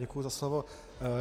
Děkuji za slovo.